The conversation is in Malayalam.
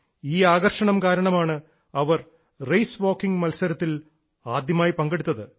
ഈ ആകർഷണം കാരണമാണ് അവർ റേസ് വാക്കിംഗ് മത്സരത്തിൽ ആദ്യമായി പങ്കെടുത്തത്